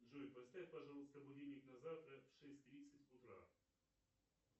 джой поставь пожалуйста будильник на завтра в шесть тридцать утра